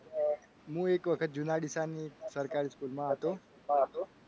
હું એક વખત જુના ડીસામાં સરકારી school માં હતો.